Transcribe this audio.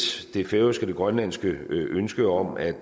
det færøske og det grønlandske ønske om at